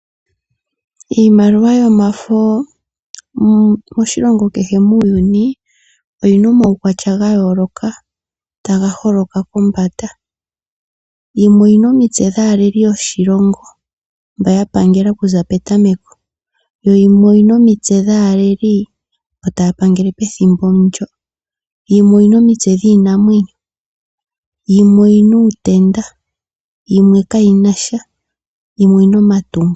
Iimaliwa yomafo moshilongo kehe muuyuni oyi na omawukwatya ga yooloka taga holoka kombanda. Yimwe oyi na omitse dhaaleli yoshilongo mboka ya pangela okuza petameko yo yimwe oyi na omitse dhaaleli mboka taya pangele pethimbo ndyoka. Yimwe oyi na omitse dhiinamwenyo. Yimwe oyi n auutenda, yimwe kayi na sha, yimwe oyi na omatungo.